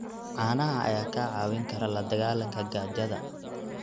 Caanaha ayaa kaa caawin kara la dagaalanka gaajada.